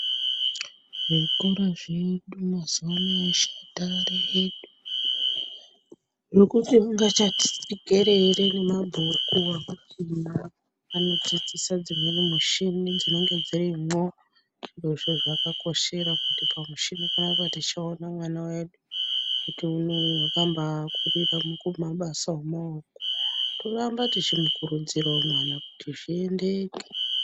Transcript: Zvikora zvedu mazuvano aya.... Zvekuti ungachati pikerere nemabhuku akuchina anodzidzisa dzimweni mushini dzinenge dzirimwo. Zvirozvo zvakakoshera kuti pamushini panapa tichaonawo vana vedu kuti unoo wakambaakorerawo kumabasa emaoko. Toramba tichimukurudzirawo mwana kuti zviendeke.